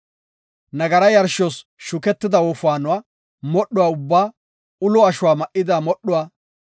Nagara yarshos shuketida wofaanuwa modhuwa ubbaa, ulo ashuwa ma7ida modhuwa,